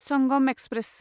Sangam express